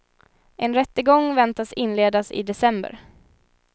En rättegång väntas inledas i december.